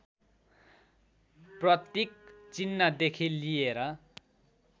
प्रतीक चिह्नदेखि लिएर